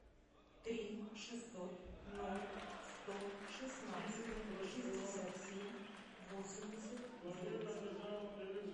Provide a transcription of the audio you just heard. три шестьсот ноль сто шестнадцать шестьдесят семь восемьдесят девять